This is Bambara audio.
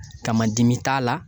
Kamadimi t'a la